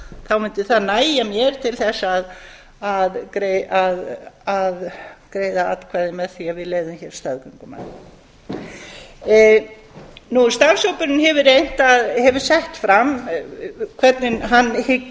það sé það sem ég hafi minnstar áhyggjur af þá mundi það nægja mér til að greiða atkvæði með því að við leyfðum hér staðgöngumæðrun starfshópurinn hefur sett fram hvernig hann